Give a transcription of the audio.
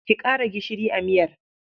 Ƙi ƙara gishiri a miyar.